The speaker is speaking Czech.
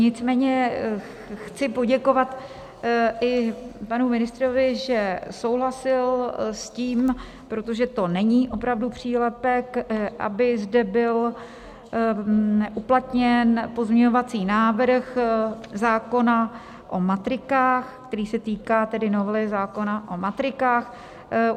Nicméně chci poděkovat i panu ministrovi, že souhlasil s tím - protože to není opravdu přílepek - aby zde byl uplatněn pozměňovací návrh zákona o matrikách, který se týká novely zákona o matrikách.